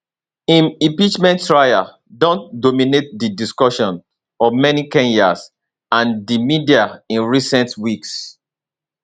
im impeachment trial don dominate di discussions of many kenyans and di media in recent weeks